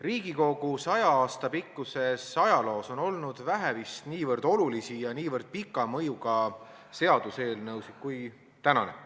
Riigikogu 100 aasta pikkuses ajaloos on olnud vist vähe niivõrd olulisi ja niivõrd pika mõjuga seaduseelnõusid kui tänane.